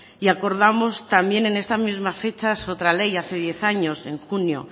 y acordamos también en esta misma fecha otra ley hace diez años en junio